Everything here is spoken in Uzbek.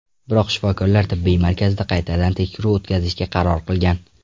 Biroq shifokorlar tibbiy markazda qaytadan tekshiruv o‘tkazishga qaror qilgan.